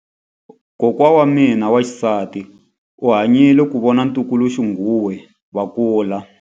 Kokwa wa mina wa xisati u hanyile ku vona vatukuluxinghuwe va kula.